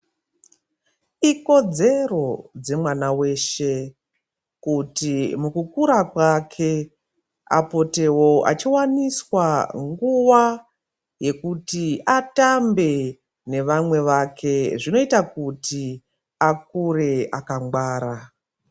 Ikodzero dzemwana weshe kuti mukukura kwake apotewo achiwaniswa nguwa yekuti atambe nevamwe vake zvinoita kuti akure akangwara.